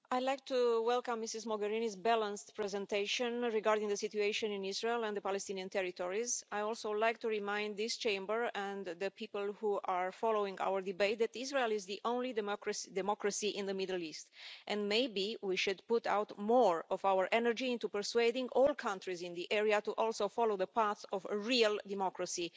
Mr President, I would like to welcome Ms Mogherini's balanced presentation regarding the situation in Israel and the Palestinian territories. I would also like to remind this Chamber and the people who are following our debate that Israel is the only democracy in the Middle East, and maybe we should put more of our energy into persuading all countries in the area to also follow the path of a real democracy.